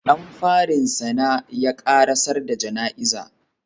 Ɗan farin sana ya karasar da jana'iza.